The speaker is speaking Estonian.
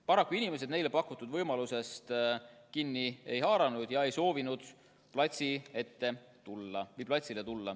Paraku inimesed neile pakutud võimalusest kinni ei haaranud, nad ei soovinud platsile tulla.